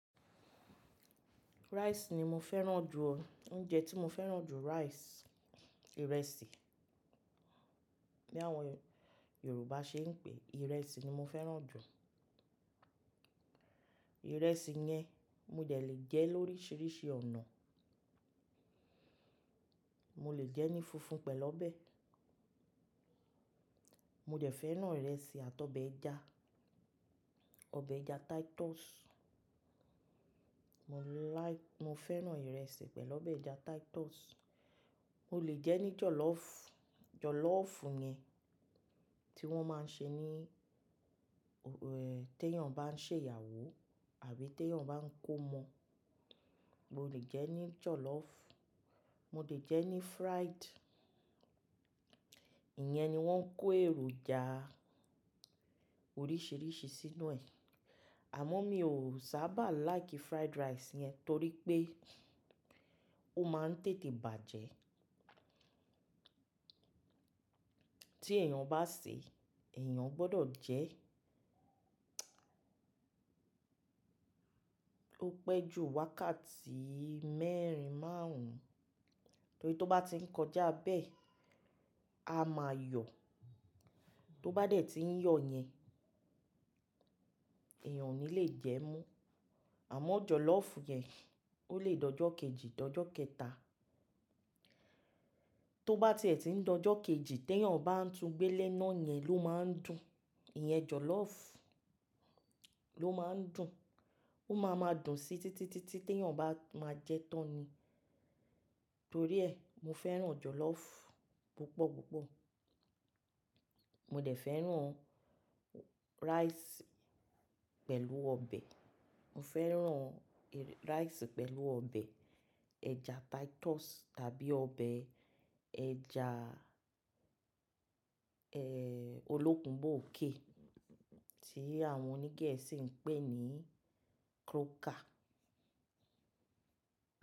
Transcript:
Rice ni mo fẹ́ràn jù o. Oúnjẹ tí mo fẹ́ràn jù rice, ìrẹsì. Bí àwọn Yorùbá ṣe ń pè, ìrẹsì ni mo fẹ́ràn jù. Ìrẹsì yẹn mo de lè jẹ lóríṣiríṣi ọ̀nà. Mo lè jẹ ní funfun pẹ̀lú ọbẹ̀. Mo dẹ̀ fẹ́ràn ìrẹsì àti ọbẹ̀ ẹja, ọbẹ̀ ẹja Titus. Mo láì-- mo fẹ́ràn ìrẹsì pẹ̀lú ọbẹ̀ ẹja Titus. Mo lè jẹ ní jọ̀lọ́fù, jọ̀lọ́fù yẹn tí wọ́n máa ń ṣe ní, eh, tí èèyàn bá ń ṣe ìyàwó àbí tí èèyàn bá ń kómo. Mo lè jẹ ní jọ̀lọ́fù. Mo lè jẹ ní fried, ìyẹn ni wọ́n ń kó èròjà oríṣiríṣi sínú ẹ̀. Àmọ́ mi ò sábà like fried rice yẹn torí pé ó máa ń tètè bàjẹ́. Tí èèyàn bá sè, èèyàn gbọdọ̀ jẹ ẹ́ pẹ́ jù wákàtí mẹ́rin máàrún, torí tó bá ti ń kọjá bẹ́ẹ̀, a máa yọ̀. Tó bá dẹ̀ ti ń yọ̀ yẹn, èèyàn ò ní lè jẹ ẹ́ mo. Àmọ́ jọ̀lọ́fù yẹn, ó lè dojọ́ kejì dojọ́ kẹta. Tó bá ti è tí ń dojọ́ kejì, tí èèyàn bá ń tún gbẹ́lẹ́ náà yẹn ló máa ń dùn. Ìyẹn jọ̀lọ́fù ló máa ń dùn. Ó máa ma dùn síi títí, títí tí èèyàn bá máa jẹ ẹ́ tán ni. Torí ẹ, mo fẹ́ràn jọ̀lọ́fù púpọ̀ púpọ̀. Mo dẹ̀ fẹ́ràn rice pẹ̀lú ọbẹ̀. Mo fẹ́ràn rice pẹ̀lú ọbẹ̀ ẹja Titus tàbí ọbẹ̀ ẹja, eh, olókùnbọ̀ òkè tí àwọn oní Gẹ̀ẹ́sì ń pè ní croaker.